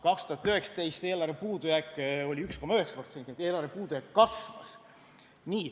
2019 oli eelarvepuudujääk 1,9%, st eelarve puudujääk kasvas.